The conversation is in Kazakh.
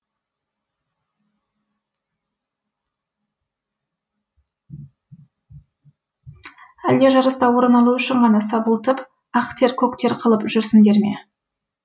әлде жарыста орын алу үшін ғана сабылтып ақ тер көк тер қылып жүрсіңдер ме